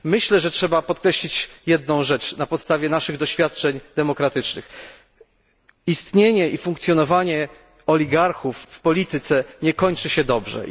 Myślę, że trzeba podkreślić jedną rzecz na podstawie naszych doświadczeń demokratycznych istnienie i funkcjonowanie oligarchów w polityce nie kończy się dobrze.